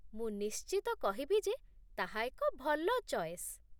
ମୁଁ ନିଶ୍ଚିତ କହିବି ଯେ ତାହା ଏକ ଭଲ ଚଏସ୍